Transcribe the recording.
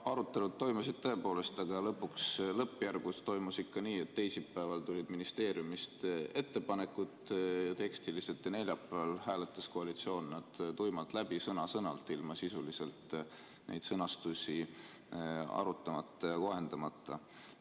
Arutelud toimusid tõepoolest, aga lõpuks lõppjärgus toimus ikka nii, et teisipäeval tulid ministeeriumist ettepanekud tekstiliselt ja neljapäeval hääletas koalitsioon nad tuimalt läbi, sõna-sõnalt, ilma sisuliselt neid sõnastusi arutamata ja kohendamata.